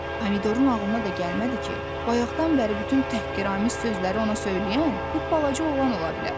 Pomidorun ağlına da gəlmədi ki, bayaqdan bəri bütün təhqiramiz sözləri ona söyləyən bu balaca oğlan ola bilər.